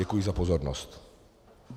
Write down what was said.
Děkuji za pozornost.